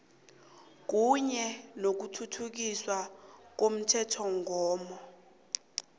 kunye nokuthuthukiswa komthethomgomo